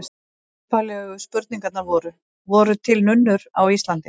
Upphaflegu spurningarnar voru: Voru til nunnur á Íslandi?